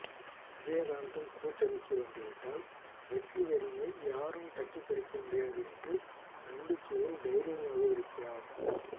விஜயகாந்த்தும் கூட்டணிக்கு வந்து விட்டால் வெற்றிக்கனியை யாரும் தட்டிப்பறிக்க முடியாது என்ற நம்பிக்கையில் தைரியமாக இருக்கிறார்